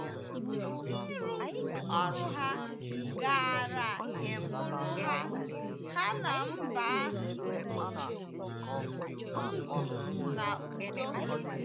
Ịrụzu ọrụ ha gaara ịbụrụ ha ha na mba ahụ ndụ na udo.